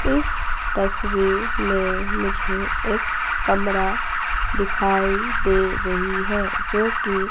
इस तस्वीर में मुझे एक कमरा दिखाई दे रही है जो की --